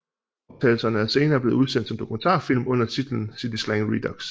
Optagelserne er senere blevet udsendt som dokumentarfilm under titlen City slang redux